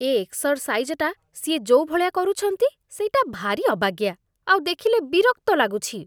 ଏ ଏକ୍ସରସାଇଜଟା ସିଏ ଯୋଉ ଭଳିଆ କରୁଛନ୍ତି, ସେଇଟା ଭାରି ଅବାଗିଆ, ଆଉ ଦେଖିଲେ ବିରକ୍ତ ଲାଗୁଛି ।